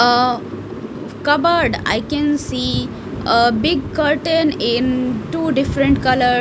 uh cupboard i can see a big curtain in two different colour.